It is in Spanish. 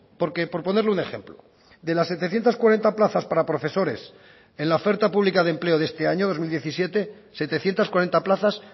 porque por ponerle un ejemplo de las setecientos cuarenta plazas para profesores en la oferta pública de empleo de este año dos mil diecisiete setecientos cuarenta plazas